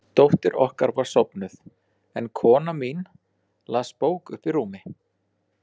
Stefán kennt áfenginu um hvernig farið hafði og hugleitt að hætta alveg að drekka.